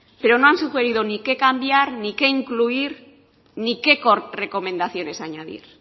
pero no han sugerido ni qué cambiar ni qué incluir ni qué recomendaciones añadir